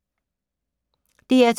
DR2